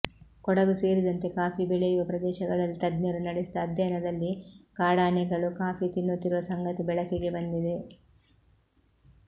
ಕೊಡಗು ಸೇರಿದಂತೆ ಕಾಫಿ ಬೆಳೆಯುವ ಪ್ರದೇಶಗಳಲ್ಲಿ ತಜ್ಞರು ನಡೆಸಿದ ಅಧ್ಯಯನದಲ್ಲಿ ಕಾಡಾನೆಗಳು ಕಾಫಿ ತಿನ್ನುತ್ತಿರುವ ಸಂಗತಿ ಬೆಳಕಿಗೆ ಬಂದಿದೆ